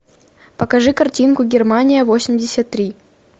покажи картинку германия восемьдесят три